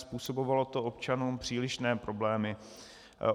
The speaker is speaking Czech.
Způsobovalo to občanům přílišné problémy.